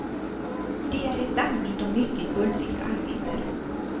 Det är ett dammigt och mycket bullrigt arbete.